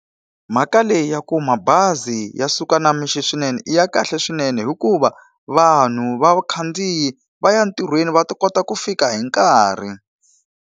Mhaka leyi ya ku mabazi ya suka na mixo swinene i ya kahle swinene hikuva, vanhu vakhandziyi va ya entirhweni va ta kota ku fika hi nkarhi.